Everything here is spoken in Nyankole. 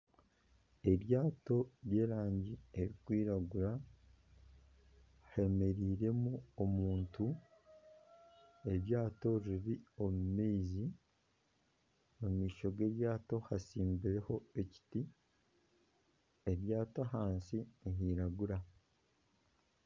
Eryato ry'erangi erikwiragura, hemereiremu omuntu, eryato riri omu maizi, omu maisho g'eryato hatsibireho ekiti, eryato ahansi nihiragura